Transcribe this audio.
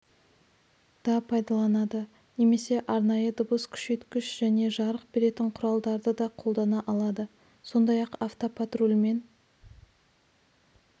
да пайдаланады немесе арнайы дыбыс күшейткіш және жарық беретін құралдарды да қолдана алады сондай-ақ автопатрульмен